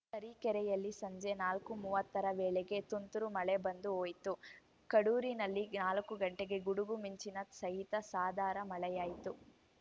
ತರೀಕೆರೆಯಲ್ಲಿ ಸಂಜೆ ನಾಲ್ಕು ಮೂವತ್ತರ ವೇಳೆಗೆ ತುಂತುರು ಮಳೆ ಬಂದು ಹೋಯಿತು ಕಡೂರಿನಲ್ಲಿ ನಾಲ್ಕು ಗಂಟೆಗೆ ಗುಡುಗು ಮಿಂಚಿನ ಸಹಿತ ಸಾಧಾರ ಮಳೆಯಾಯಿತು